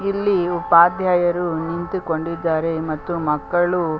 ಇಲ್ಲಿ ಉಪಾಧ್ಯಾಯರು ನಿಂತುಕೊಂಡಿದ್ದಾರೆ ಮತ್ತು ಮಕ್ಕಳು .